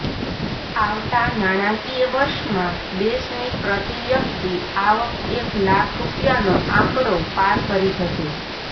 આવતા નાણાંકિય વર્ષમાં દેશની પ્રતિ વ્યક્તિ આવક એક લાખ રૂપિયાનો આંકડો પાર કરી જશે